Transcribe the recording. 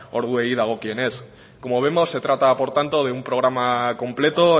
orduei dagokienez como vemos se trata por tanto de un programa completo